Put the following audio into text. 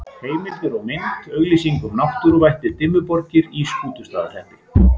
Heimildir og mynd: Auglýsing um náttúruvættið Dimmuborgir í Skútustaðahreppi.